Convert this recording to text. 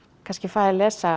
kannski fæ að lesa